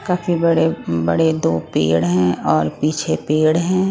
काफी बड़े बड़े दो पेड़ हैं और पीछे पेड़ हैं।